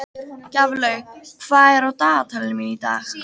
Gjaflaug, hvað er á dagatalinu mínu í dag?